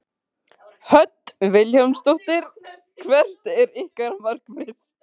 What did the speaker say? Hödd Vilhjálmsdóttir: Hvert er ykkar markmið?